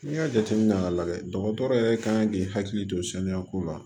N'i y'a jateminɛ k'a lajɛ dɔgɔtɔrɔ yɛrɛ ka kan k'i hakili to saniya ko la